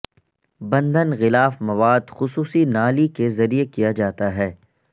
بندھن غلاف مواد خصوصی نالی کے ذریعے کیا جاتا ہے